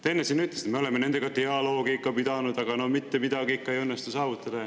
Te enne siin ütlesite: me oleme nendega dialoogi pidanud, aga no mitte midagi ikka ei õnnestu saavutada.